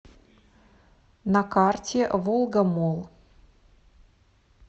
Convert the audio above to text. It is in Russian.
на карте волгамолл